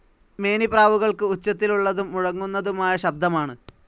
മേനിപ്രാവുകൾക്ക് ഉച്ചത്തിലുള്ളതും മുഴങ്ങുന്നതുമായ ശബ്ദമാണ്.